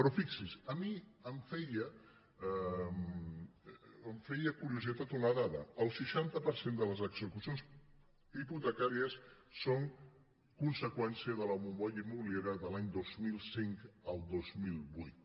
però fixi’s a mi em feia curiositat una dada el seixanta per cent de les execucions hipotecàries són conseqüència de la bombolla immobiliària de l’any dos mil cinc al dos mil vuit